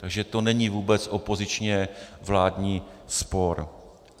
Takže to není vůbec opozičně-vládní spor.